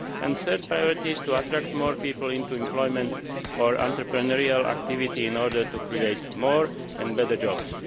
and the third priority is to attract more people into employment or entrepreneurial activity in order to create more and better jobs.